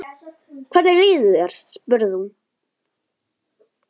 Hvernig líður þér? spurði hún.